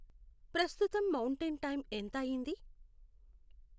ప్రస్తుతం mountain time ఎంత అయింది